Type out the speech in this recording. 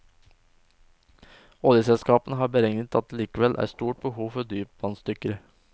Oljeselskapene har beregnet at det likevel er stort behov for dypvannsdykkere.